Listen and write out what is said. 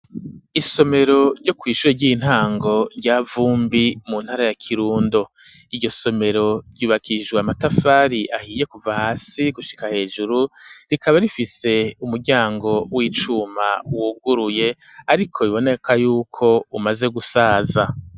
Isomero ryo kw'ishure ry'intango rya Vumbi, mu ntara ya Kirundo; iryo somero ryubakishijwe amatafari ahiye kuva hasi gushika hejuru, rikaba rifise umuryango w'icuma wuguruye, ariko biboneka y'uko umaze gusaza.